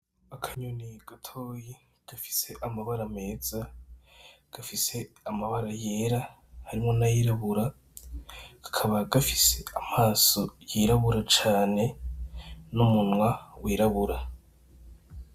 Akanyoni gatoyi gafise amabara meza gafise amabara yera harimwo n' ayirabura kakaba gafise amaso yirabura cane n' umunwa wirabura.